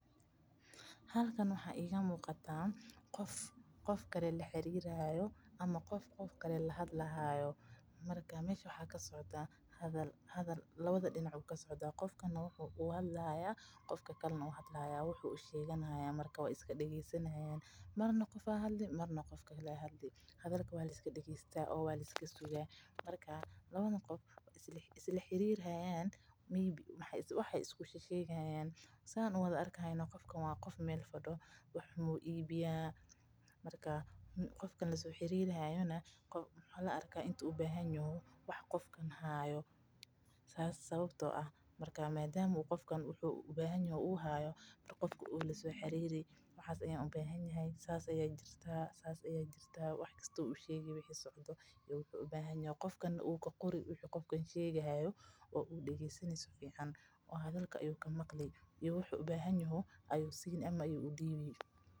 Halkan waxaa iiga muuqataa qof qof kale lahadli haayo waxa lasocdaa hadal labada dinac hdalka waa liska dageesta labada qof waay isla xariiri Haryana qofkan waa qof meel fadiyo qofka kalena waxaa laga yaaba inuu wax ubahan yaho kan kalena wuu qori oo wuxuu ubahan yaho ayuu udiibi.